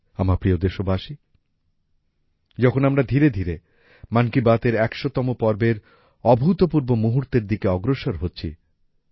আমার প্রিয় দেশবাসী এখন আমরা ধীরে ধীরে মন কি বাত এর ১০০তম পর্বের অভূতপূর্ব মুহূর্তের দিকে অগ্রসর হচ্ছি